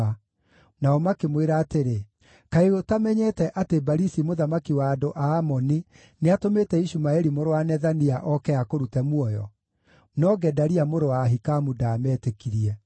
nao makĩmwĩra atĩrĩ, “Kaĩ ũtamenyete atĩ Balisi mũthamaki wa andũ a Amoni nĩatũmĩte Ishumaeli mũrũ wa Nethania oke akũrute muoyo?” No Gedalia mũrũ wa Ahikamu ndaametĩkirie.